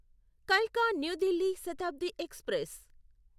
కల్కా new Delhi Shatabdi express